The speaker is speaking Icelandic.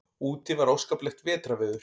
Úti var óskaplegt vetrarveður.